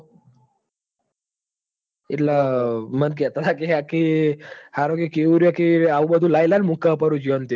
એટલ મન લેતા હતા કી હરો કી આ કેયુર કેયુએ આવું બધું લાઈ લાઈ જોતો મુક હ પરુ